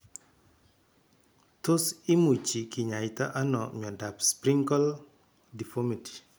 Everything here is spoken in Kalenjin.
Tos imuchi kinyaita ano miondop Sprengel deformity